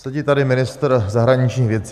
Sedí tady ministr zahraničních věcí.